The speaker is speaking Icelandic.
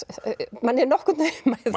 manni